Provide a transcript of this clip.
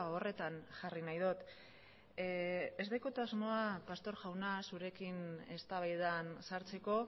horretan jarri nahi dut ez daukat asmoa pastor jauna zurekin eztabaidan sartzeko